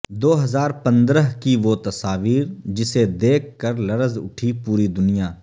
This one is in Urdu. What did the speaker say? دوہزار پندرہ کی وہ تصاویر جسے دیکھ کر لرز اٹھی پوری دنیا